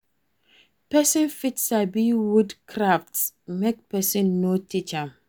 Persin fit sabi wood crafts make persin no teach am